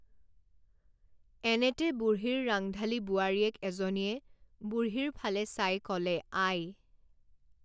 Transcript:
এনেতে বুঢ়ীৰ ৰাংঢালী বোৱাৰীয়েক এজনীয়ে বুঢ়ীৰ ফালে চাই ক লে আই!